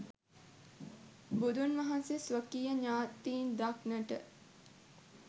බුදුන් වහන්සේ ස්වකීය ඥාතීන් දක්නට